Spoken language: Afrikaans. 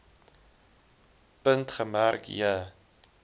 punt gemerk j